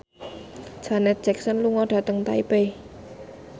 Janet Jackson lunga dhateng Taipei